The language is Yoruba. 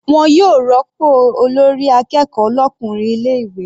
Wọn yóò rópò olórí akẹ́kọ̀ọ́ l'ọkùnrin ilé ìwé.